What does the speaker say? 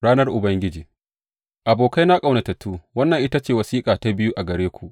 Ranar Ubangiji Abokaina ƙaunatattu, wannan ita ce wasiƙata ta biyu gare ku.